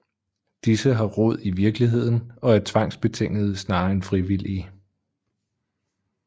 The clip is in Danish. Disse har rod i virkeligheden og er tvangsbetingede snarere end frivillige